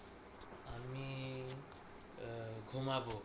ঘুমাবো